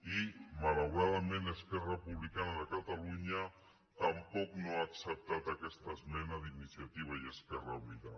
i malauradament esquerra republicana tampoc no ha acceptat aquesta esmena d’iniciativa i esquerra unida